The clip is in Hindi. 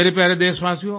मेरे प्यारे देशवासियों